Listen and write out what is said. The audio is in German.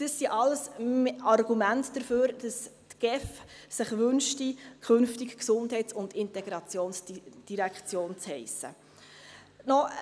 Das sind alles Argumente dafür, dass sich die GEF wünscht, künftig Gesundheits- und Integrationsdirektion zu heissen.